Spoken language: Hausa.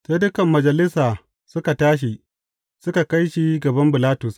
Sai dukan majalisa suka tashi, suka kai shi gaban Bilatus.